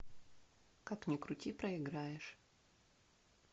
как ни крути проиграешь